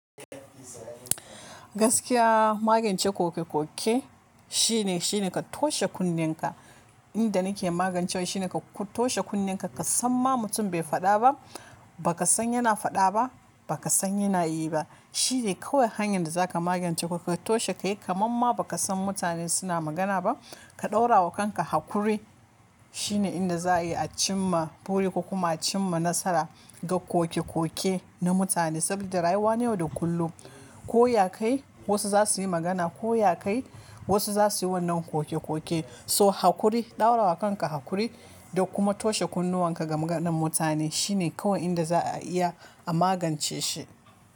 Gaskiya magance kokekoke shine, shine ka toshe kunnenka. Inda nake magancewa shine ka toshe kunnenka. Ka san ma mutum bai faɗa ba, ba ka san yana faɗa ba, ba ka san yana yi ba. Shi ne kawai hanyar da za ka magance. Ka toshe, ka yi kamar ma ba ka san mutane suna magana ba. Ka ɗora wa kanka hakuri shine inda za a iya a cimma buri kuma a cimma nasara ga kokekoke na mutane. Saboda rayuwa ne wada kullum ko ya kai wasu za su yi magana, ko ya kai wasu za su yi wannan kokekoke. So hakuri, ɗaura wa kanka hakuri da kuma toshe kunnuwan ka ga maganar mutane shine kawai inda za a iya a magance shi.